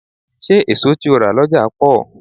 Ṣé èso tí o rà lọ́jà pọ̀?